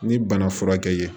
Ni bana furakɛ ye